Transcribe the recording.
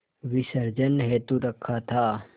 विसर्जन हेतु रखा था